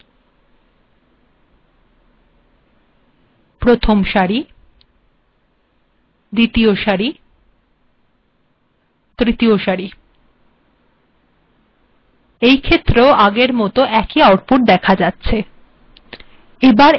েদখুন এখােন েদখা যাচ্েছ c d e এিটেক অন্যপ্রকােরও েলখা েযেত পার প্রথম সারি দ্বিতীয় সারি তৃতীয় সারি এইেখত্ের পূর্েবর মত একই আউটপুট্ েদখা যাচ্েছ